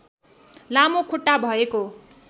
लामो खुट्टा भएको